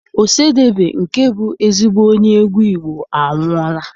Ọsadebe nke bụ ezigbo onye egwu Igbo anwụọla.